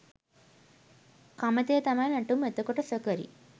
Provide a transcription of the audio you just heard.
කමතේ තමයි නැටුම් එතකොට සොකරි